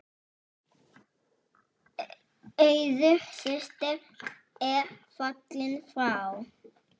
Auður systir er fallin frá.